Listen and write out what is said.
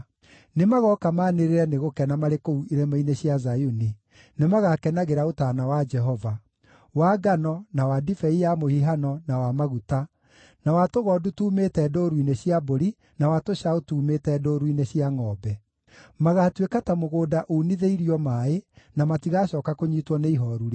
Nĩmagooka maanĩrĩre nĩ gũkena marĩ kũu irĩma-inĩ cia Zayuni; nĩmagakenagĩra ũtaana wa Jehova: wa ngano, na wa ndibei ya mũhihano, na wa maguta, na wa tũgondu tuumĩte ndũũru-inĩ cia mbũri, na wa tũcaũ tuumĩte ndũũru-inĩ cia ngʼombe. Magaatuĩka ta mũgũnda unithĩirio maaĩ, na matigacooka kũnyiitwo nĩ ihooru rĩngĩ.